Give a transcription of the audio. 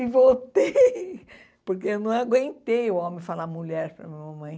E voltei, porque eu não aguentei o homem falar mulher para a minha mamãe.